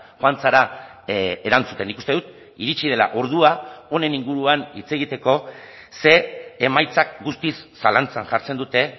joan zara erantzuten nik uste dut iritsi dela ordua honen inguruan hitz egiteko ze emaitzak guztiz zalantzan jartzen dute